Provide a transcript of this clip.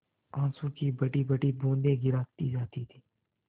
आँसू की बड़ीबड़ी बूँदें गिराती जाती थी